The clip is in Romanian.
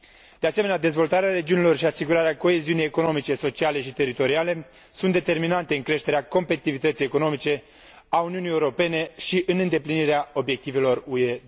De asemenea, dezvoltarea regiunilor și asigurarea coeziunii economice, sociale și teritoriale sunt determinante în creșterea competitivității economice a Uniunii Europene și în îndeplinirea obiectivelor UE